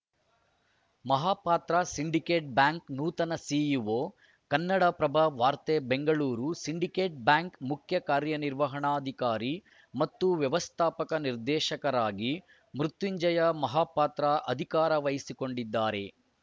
Mahapatra Syndicate Bank ನೂತನ CEO Kannada Prabha ವಾರ್ತೆ Bengaluru Syndicate Bank ಮುಖ್ಯ ಕಾರ್ಯ ನಿರ್ವಹಣಾಧಿಕಾರಿ ಮತ್ತು ವ್ಯವಸ್ಥಾಪಕ ನಿರ್ದೇಶಕರಾಗಿ ಮೃತ್ಯುಂಜಯ ಮಹಾಪಾತ್ರ ಅಧಿಕಾರ ವಹಿಸಿಕೊಂಡಿದ್ದಾರೆ